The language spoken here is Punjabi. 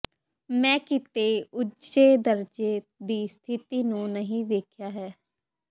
ਮੈਂ ਕਿਤੇ ਉੱਚੇ ਦਰਜੇ ਦੀ ਸਥਿਤੀ ਨੂੰ ਨਹੀਂ ਵੇਖਿਆ ਹੈ